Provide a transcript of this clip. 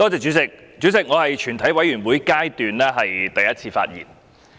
主席，這是我在全體委員會審議階段的第一次發言。